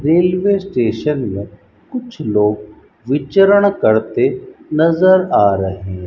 Railway station में कुछ लोग विचरण करते नज़र आ रहे।